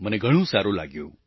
મને ઘણું સારું લાગ્યું